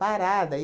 Parada.